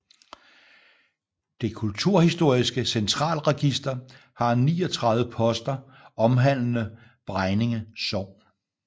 Det kulturhistoriske Centralregister har 39 poster omhandlende Bregninge Sogn